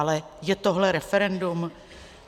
Ale je tohle referendum?